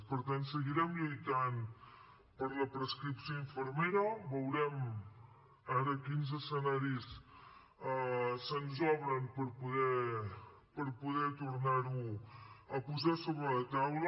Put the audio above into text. per tant seguirem lluitant per la prescripció infermera veurem ara quins escenaris se’ns obren per poder tornar ho a posar sobre la taula